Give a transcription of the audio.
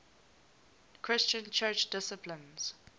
christian church disciples